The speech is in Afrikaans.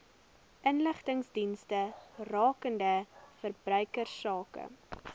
inligtingsdienste rakende verbruikersake